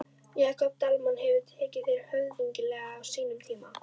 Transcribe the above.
Jakob Dalmann hefur tekið þér höfðinglega á sínum tíma?